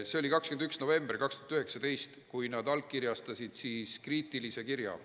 See oli 21. novembril 2019, kui nad allkirjastasid kriitilise kirja.